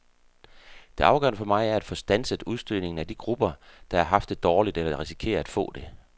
Det afgørende for mig er at få standset udstødningen af de grupper, der har haft det dårligt eller risikerer at få det.